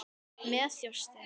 Með þjósti.